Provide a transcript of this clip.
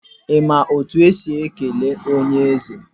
I ma otu esi ekele onye eze?